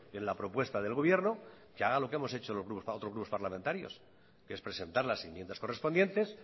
en la propuesta del gobierno que haga lo que hemos hecho otros grupos parlamentarios que es presentar las enmiendas correspondientes